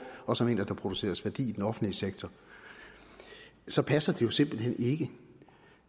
også han mener at der produceres værdi i den offentlige sektor så passer det jo simpelt hen ikke